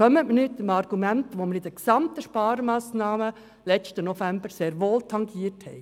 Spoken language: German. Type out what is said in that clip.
Kommen Sie nicht mit dem Argument, das wir im letzten November bei den Sparmassnahmen sehr wohl tangiert haben!